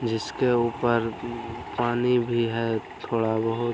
जिसके ऊपर उम्म पानी भी है थोड़ा बहुत